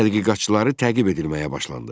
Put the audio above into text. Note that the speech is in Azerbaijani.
Tədqiqatçıları təqib edilməyə başlandı.